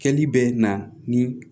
Kɛli bɛ na ni